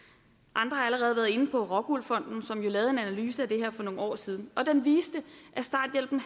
allerede været inde på rockwool fonden som jo lavede en analyse af det her for nogle år siden og den viste at starthjælpen